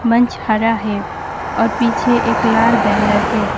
मंच हरा है और पीछे एक लाल बैनर है।